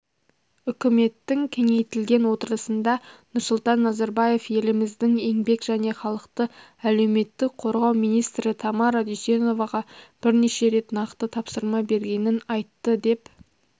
үкіметтің кеңейтілген отырысында нұрсұлтан назарбаев еліміздің еңбек және халықты әлеуметтік қорғау министрі тамара дүйсеноваға бірнеше рет нақты тапсырма бергенін айтты деп